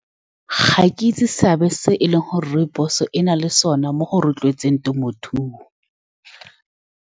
Ga ke itse seabe se e leng gore rooibos-e e na le sone mo go rotloetseng temothuo.